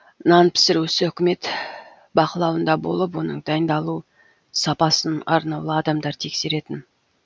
нан пісіру ісі үкімет бақылауында болып оның дайындалу сапасын арнаулы адамдар тексеретін